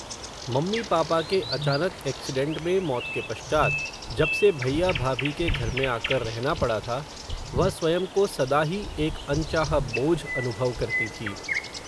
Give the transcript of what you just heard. mummy papa के अचानक accident में मौत के पश्चात, जब से भैया भाभी के घर में आ कर रहना पड़ा था, वह स्वयं को, सदा ही एक अनचाहा बोझ, अनुभव करती थी